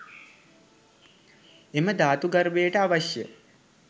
එම ධාතු ගර්භයට අවශ්‍ය